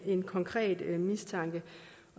en konkret mistanke